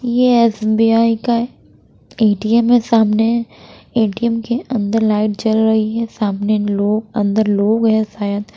ये एस_बी_आई का है ए_टी_एम है सामने ए_टी_एम के अंदर लाइट जल रही है सामने लोग अंदर लोग है शायद।